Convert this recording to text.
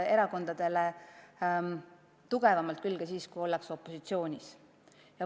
– erakondadele tugevamalt külge siis, kui ollakse opositsioonis.